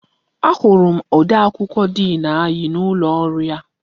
Ahụrụ odee akwụkwọ diin anyị n'ime ụlọ ọrụ ya.